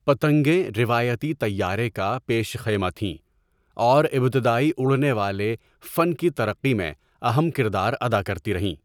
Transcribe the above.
پتنگیں روایتی طَیّارَے کا پیش خیمہ تھیں اور ابتدائی اڑنے والے فن کی ترقی میں اہم کردار ادا کرتی رہیں۔